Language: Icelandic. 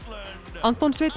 Anton Sveinn